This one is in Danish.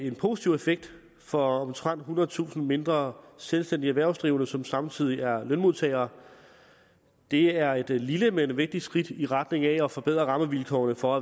en positiv effekt for omtrent ethundredetusind mindre selvstændige erhvervsdrivende som samtidig er lønmodtagere det er et lille men vigtigt skridt i retning af at forbedre rammevilkårene for